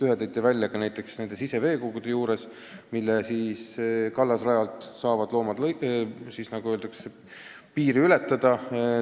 Ühe näite te tõite juba ise, kui viitasite siseveekogudele, mille kallasrada mööda saavad loomad piiri ületada.